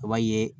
A b'a ye